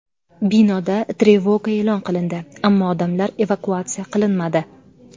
Binoda trevoga e’lon qilindi, ammo odamlar evakuatsiya qilinmadi.